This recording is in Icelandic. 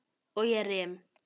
Og ég rym.